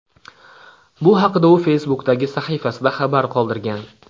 Bu haqda u Facebook’dagi sahifasida xabar qoldirgan .